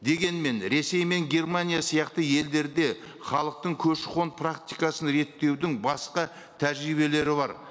дегенмен ресей мен германия сияқты елдерде халықтың көші қон практикасын реттеудің басқа тәжірибелері бар